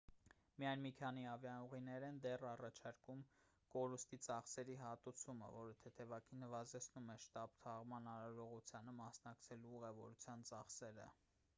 միայն մի քանի ավիաուղիներ են դեռ առաջարկում կորուստի ծախսի հատուցում որը թեթևակի նվազեցնում է շտապ թաղման արարողությանը մասնակցելու ուղևորության ծախսերը